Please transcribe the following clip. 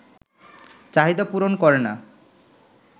চাহিদা পূরণ করে না